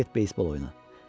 Sən get beysbol oyna.